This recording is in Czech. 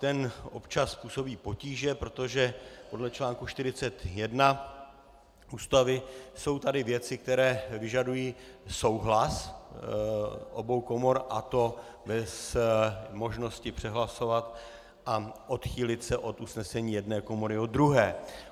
To občas působí potíže, protože podle článku 41 Ústavy jsou tady věci, které vyžadují souhlas obou komor, a to bez možnosti přehlasovat a odchýlit se od usnesení jedné komory od druhé.